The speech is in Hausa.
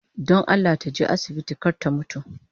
Don Allah taje asibiti kar ta mutu